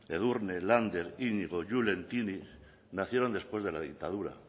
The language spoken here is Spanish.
edurne lander iñigo julen tini nacieron después de la dictadura